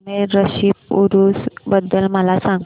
अजमेर शरीफ उरूस बद्दल मला सांग